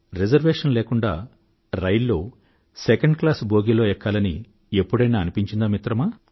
reservation లేకుండా రైల్లో second class బోగీలో ఎక్కాలని ఎప్పుడైనా అనిపించిందా మిత్రమా